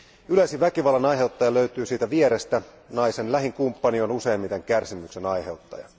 Yleisin väkivallan aiheuttaja löytyy siitä vierestä, naisen lähin kumppani on useimmiten kärsimyksen aiheuttaja.